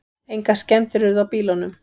Engar skemmdir urðu á bílunum